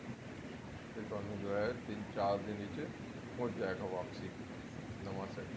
ਤੇ ਤੁਹਾਨੂੰ ਜੋ ਹੈ ਤਿੰਨ ਚਾਰ ਦਿਨ ਵਿੱਚ ਮੁੜ ਜਾਏਗਾ ਵਾਪਸੀ ਨਵਾਂ set